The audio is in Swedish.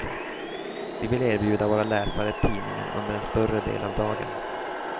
Vi vill erbjuda våra läsare tidningen under en större del av dagen.